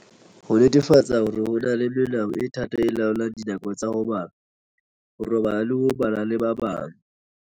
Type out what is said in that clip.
Ho netefatsa hore ho na le melao e thata e laolang dinako tsa ho bala, ho robala le ho ba le ba bang.